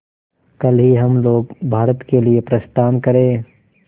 कल ही हम लोग भारत के लिए प्रस्थान करें